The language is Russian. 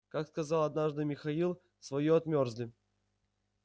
как сказал однажды михаил своё отмёрзли